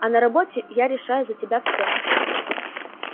а на работе я решаю за тебя всё